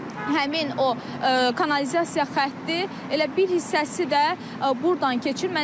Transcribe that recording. Həmin o kanalizasiya xətti elə bir hissəsi də burdan keçir.